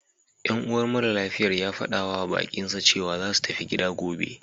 Yan uwar maralafiyar ya faɗawa baƙinsa cewa za su tafi gida gobe..